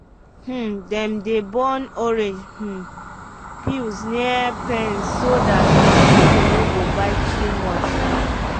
um dem dey burn orange um peels near pens so dat mosquito no go bite too much. um